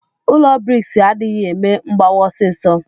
Ụlọ briks adighi eme mgbawa ọsisọ.